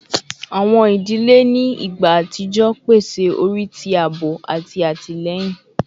Awọn idile ni igba atijọ pese ori ti aabo ati atilẹyin